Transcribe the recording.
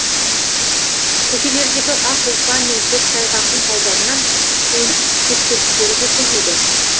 көшелердегі ақ ұлпа мен көктайғақтың салдарынан көлік кептелістері де көбейді